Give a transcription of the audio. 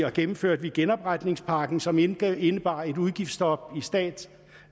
og gennemførte vi genopretningspakken som indebar indebar et udgiftsstop i stat